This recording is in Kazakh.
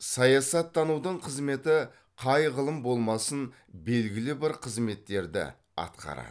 саясаттанудың қызметі қай ғылым болмасын белгілі бір қызметтерді атқарады